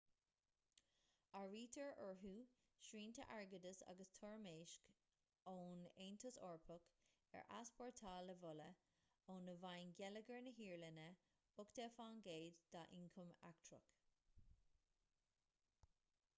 áirítear orthu srianta airgeadais agus toirmeasc ón aontas eorpach ar easpórtáil amhola óna bhfaigheann geilleagar na hiaráine 80% dá ioncam eachtrach